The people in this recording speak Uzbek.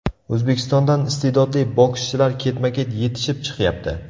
O‘zbekistondan istedodli bokschilar ketma-ket yetishib chiqyapti.